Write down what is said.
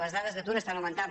les dades d’atur estan augmentant